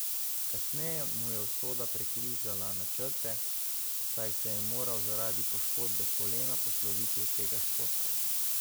Kasneje mu je usoda prekrižala načrte, saj se je moral zaradi poškodbe kolena posloviti od tega športa.